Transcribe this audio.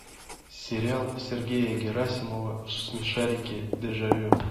сериал сергея герасимова смешарики дежавю